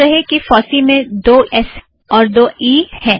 ध्यान रहे कि फॉस्सी में दो ई और दो एस हैं